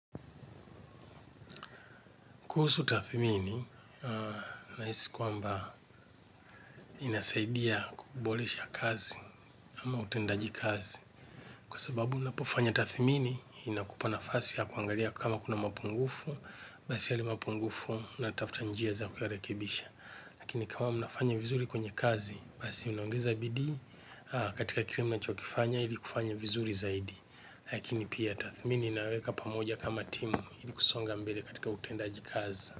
Kuhusu tathimini, nahisi kwamba inasaidia kuboresha kazi ama utendaji kazi. Kwa sababu unapofanya tathimini, inakupa nafasi ya kuangalia kama kuna mapungufu, basi yale mapungufu unatafuta njia za kuyarekebisha. Lakini kama mnafanya vizuri kwenye kazi, basi mnaongeza bidii, katika kile mnachokifanya, ili kufanya vizuri zaidi. Lakini pia tathimini inaweka pamoja kama timu, ili kusonga mbele katika utendaji kazi.